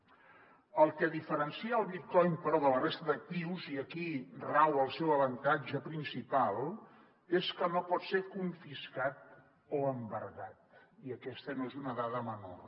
el que diferencia el bitcoin però de la resta d’actius i aquí rau el seu avantatge principal és que no pot ser confiscat o embargat i aquesta no és una dada menor